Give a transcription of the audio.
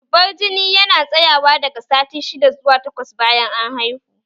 Zubar jini yana tsayawa daga sati shidda zuwa takwas bayan an haihu